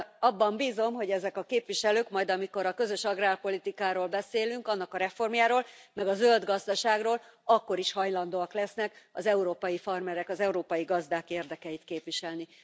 Abban bízom, hogy ezek a képviselők, majd amikor a közös agrárpolitikáról beszélünk, annak a reformjáról, meg a zöld gazdaságról, akkor is hajlandóak lesznek az európai farmerek, az európai gazdák érdekeit képviselni.